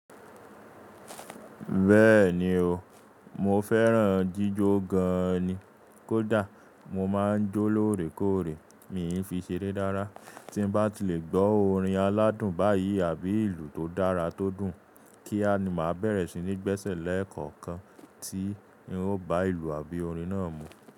Bẹ́ẹ̀ni o, mo fẹ́ràn jíjọ gan ni. Kódà mo máa ń jó lóòrèkóòrè, mi n fi ṣe ere rara. Tí n bá ti lè gbọ́ orin aládùn báyìí àbí ìlù tó dára tó dùn, kí á ni màá bẹ̀rẹ̀ sí ní gbẹ́sẹ̀ lẹ́ẹ̀kọ̀kan tí n ó bá ìlù àbí orin náà mú.